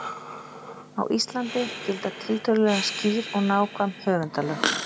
Á Íslandi gilda tiltölulega skýr og nákvæm höfundalög.